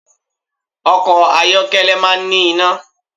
Ọkọ̀ ayọ́kẹ́lẹ́ máa ń ní iná